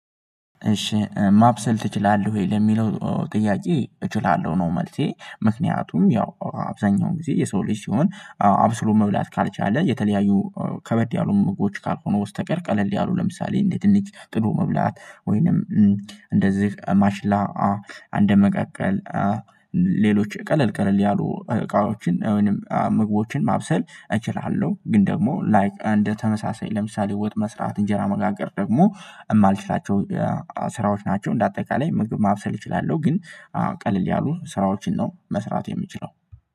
እሺ ማብሰል ትችላለህ ወይ? ለሚለው ጥያቄ እችላለሁ ነው መልሴ ምክንያቱም ያው አብዛኛውን ጊዜ የሰው ልጅ ሲሆን አብስሎ መብላት ካልቻለ የተለያዩ ከበድ ያሉ ምግቦች ካልሆኑ በስተቀር ቀለል ያሉ ለምሳሌ እንድጠደ ድንጭ ጥሎ መብላት ወይንም እንደዚህ ማሽላ አንድ መቃቀል ሌሎች ቀለል ቀለል ያሉ እቃዎችን ወይንም ምግቦችን ማብሰል እችላለሁ ግን ደግሞ ላይክ እንደ ተመሳሳይ ለምሳሌ ወጥ መስራት እንጀራ መጋገር ደግሞ የማልችላቸው ስራዎች ናቸው እንደ አጠቃላይ ምግብ ማብሰል እችላለሁ ግን ቀልል ያሉ ስራዎችን ነው መስራት የምችለው